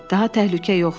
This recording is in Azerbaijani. Daha təhlükə yoxdur.